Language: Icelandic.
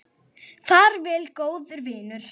Far vel, góði vinur.